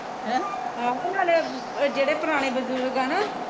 ਆਹੋ ਨਾਲੇ ਜਿਹੜੇ ਪੁਰਾਣੇ ਬਜੁਰਗ ਆ ਨਾ